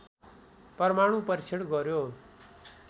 परमाणु परीक्षण गऱ्यो